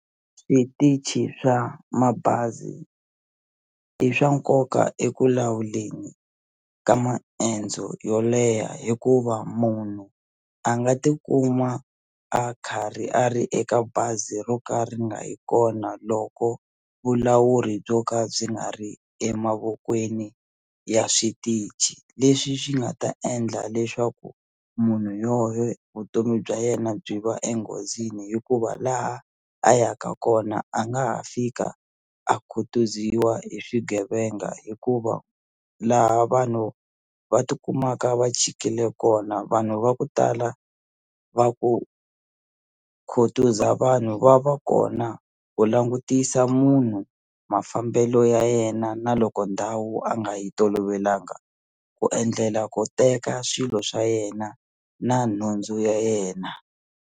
Switichi swa mabazi i swa nkoka eku lawuleni ka maendzo yo leha hikuva munhu a nga tikuma a karhi a ri eka bazi ro ka ri nga yi kona loko vulawuri byo ka byi nga ri emavokweni ya switichi leswi swi nga ta endla leswaku munhu yo yo vutomi bya yena byi va enghozini hikuva laha a yaka kona a nga ha fika a khutuziwa hi swigevenga hikuva laha vanhu va tikumaka va chikile kona vanhu va ku tala va ku khutuza vanhu va va kona ku langutisa munhu mafambelo ya yena na loko ndhawu a nga yi tolovelanga ku endlela ku teka swilo swa yena na nhundzu ya yena.